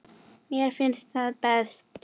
Mér finnst það best.